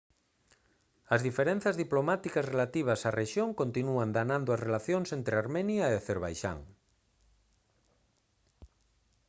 as diferenzas diplomáticas relativas á rexión continúan danando as relacións entre armenia e acerbaixán